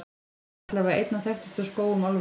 Hann er allavega einn af þekktustu skógum álfunnar.